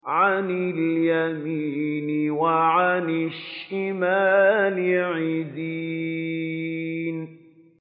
عَنِ الْيَمِينِ وَعَنِ الشِّمَالِ عِزِينَ